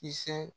Kisɛ